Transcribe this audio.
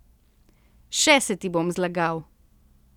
Še se ti bom zlagal.